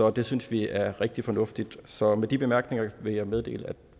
og det synes vi er rigtig fornuftigt så med de med bemærkninger vil jeg meddele at